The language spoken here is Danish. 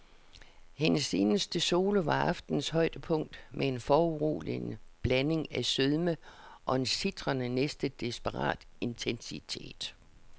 Hendes eneste solo var aftenens højdepunkt med en foruroligende blanding af sødme og en sitrende, næsten desperat intensitet.